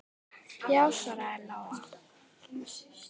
Já, svaraði Lóa.